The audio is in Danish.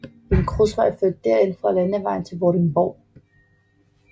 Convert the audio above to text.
En grusvej fører derind fra landevejen til Vordingborg